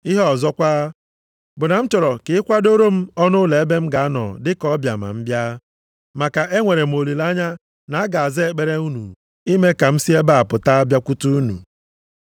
Ihe ọzọkwa, bụ na m chọrọ ka ị kwadoro m ọnụụlọ ebe m ga-anọ dị ka ọbịa ma m bịa, maka enwere m olileanya na a ga-aza ekpere unu ime ka m si nʼebe a pụta bịakwute unu.